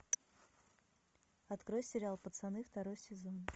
открой сериал пацаны второй сезон